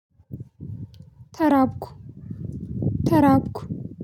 ተራብኩ። ተራብኩ።